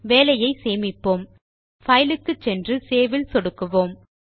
வேலையை சேமிப்போம்File க்கு சென்று சேவ் இல் சொடுக்குவோம்